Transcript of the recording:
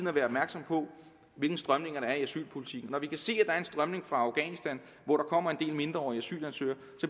at være opmærksom på hvilke strømninger der er i asylpolitikken når vi kan se er en strømning fra afghanistan hvor der kommer en del mindreårige asylansøgere